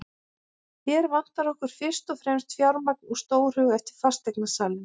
Hér vantar okkur fyrst og fremst fjármagn og stórhug, sagði fasteignasalinn.